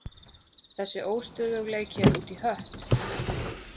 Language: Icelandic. Þessi óstöðugleiki er út í hött.